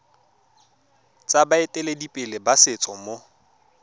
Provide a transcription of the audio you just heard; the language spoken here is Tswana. tsa baeteledipele ba setso mo